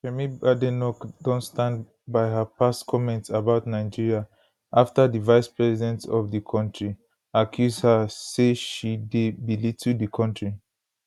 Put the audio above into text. kemi badenoch don stand by her past comments about nigeria afta di vicepresident of di kontri accuse her say she dey belittle di kontri